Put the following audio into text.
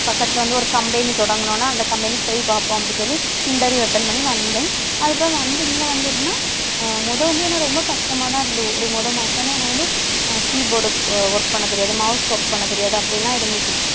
பக்கத்துல வந்து, ஒரு company தொடங்கன உடனே அந்த company க்கு போய் பார்ப்போம், அப்படின்னு சொல்லி interview attend பண்ணி வந்தேன். அதுக்கப்புறம் வந்து இங்க வந்து எப்படின்னா அஹ் முதல் வந்து என்னை ரொம்ப கஷ்டமாதான் இருந்தது ஒரு முதல் மாசம் ஏன்னா எனக்கு வந்து அஹ் keyboard work பண்ண தெரியாது mouse work பண்ண தெரியாது அப்படி எல்லாம் இருந்துச்சு.